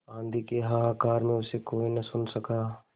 आँधी के हाहाकार में उसे कोई न सुन सका